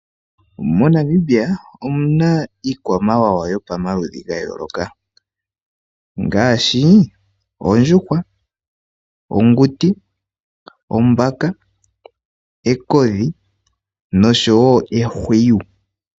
MoNamibia omuna iikwamawawa yopomaludhi gayooloka ngaashi oondjuhwa, oombaka, onguti, ekodhi nosho woo ehwiyu.